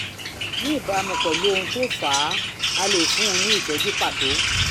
ní ìbámu pẹ̀lú ohun tó fà á a lè fún un ní ìtọ́jú pàtó